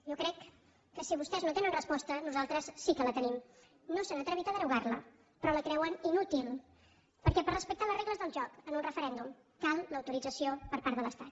jo crec que si vostès no tenen resposta nosaltres sí que la tenim no s’han atrevit a derogar la però la creuen inútil perquè per respecte a les regles del joc en un referèndum cal l’autorització per part de l’estat